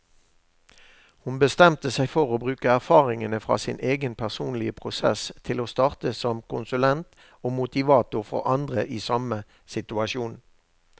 Hun bestemte seg for å bruke erfaringene fra sin egen personlige prosess til å starte som konsulent og motivator for andre i samme situasjon.